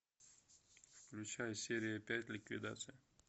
включай серия пять ликвидация